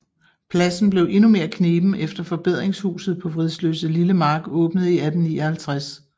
Pladsen blev endnu mere kneben efter Forbedringshuset på Vridsløselille Mark åbnede i 1859